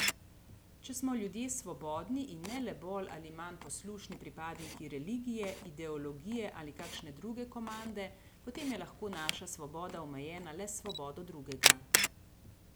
Če smo ljudje svobodni in ne le bolj ali manj poslušni pripadniki religije, ideologije ali kakšne druge komande, potem je lahko naša svoboda omejena le s svobodo drugega.